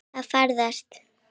Að farast?